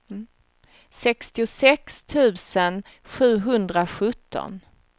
sextiosex tusen sjuhundrasjutton